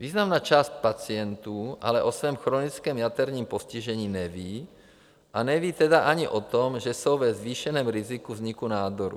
Významná část pacientů ale o svém chronickém jaterním postižení neví, a neví tedy ani o tom, že jsou ve zvýšeném riziku vzniku nádoru.